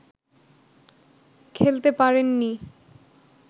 খেলতে পারেননি